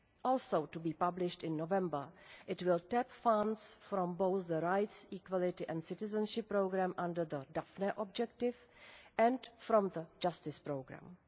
Also to be published in November, it will tap funds from both the Rights, Equality and Citizenship Programme under the Daphne objective, and from the Justice Programme.